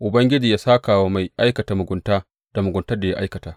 Ubangiji yă sāka wa mai aikata mugunta da muguntar da ya aikata!